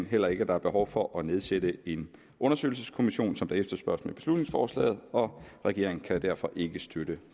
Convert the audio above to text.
heller ikke at der er behov for at nedsætte en undersøgelseskommission som der efterspørges i beslutningsforslaget og regeringen kan derfor ikke støtte